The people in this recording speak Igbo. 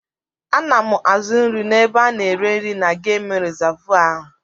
Ana m azụ nri n'ebe ana ere nri na gemụ rizavụ ahụ.